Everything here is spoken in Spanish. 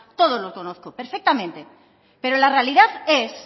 todo lo conozco perfectamente pero la realidad es